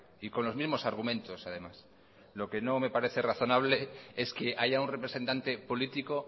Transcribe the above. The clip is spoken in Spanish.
y con los mismos argumentos además lo que no me parece razonable es que haya un representante político